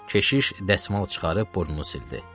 Keşiş dəsmal çıxarıb burnunu sildi.